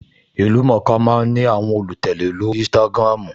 Ìlú-mọ̀-ọ́n-ka máa ń ní àwọn olùtẹ̀lé lórí Instagram